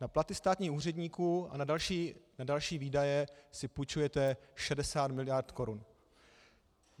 Na platy státních úředníků a na další výdaje si půjčujete 60 mld. korun.